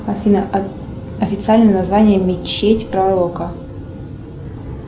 афина официальное название мечеть пророка